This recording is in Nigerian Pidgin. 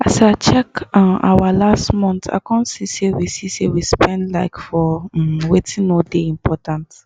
as i check um our last month i come see say we see say we spend um for um wetin no dey important